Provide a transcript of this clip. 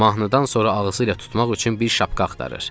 Mahnıdan sonra ağzı ilə tutmaq üçün bir şapka axtarır.